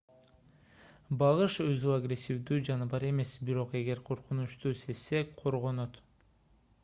багыш өзү агрессивдүү жаныбар эмес бирок эгер коркунучту сезсе коргонот